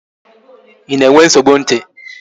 Ị na-enwe nsogbu ntị?